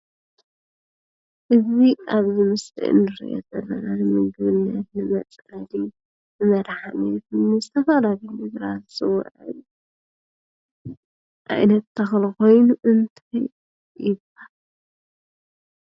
እዙይ ኣብዚ ምስሊ እንርእዮ ዘለና ንምግብነት ፣ንመፅሐፊ፣ ንመድሓኒት ዝተፈላለዩ ነገራት ዝውዕል ዓይነት ተኽሊ ኾይኑ እንታይ ይብሃል?